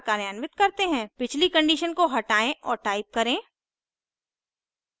पिछली condition को हटायें और type करें